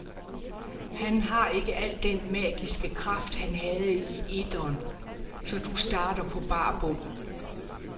Han har ikke al den magiske kraft han havde i etteren, så du starter på bar bund.